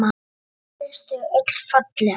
Henni finnst þau öll falleg.